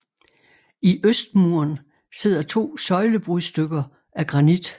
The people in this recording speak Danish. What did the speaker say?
I øst muren sidder to søjlebrudstykker af granit